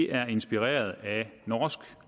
er inspireret af norsk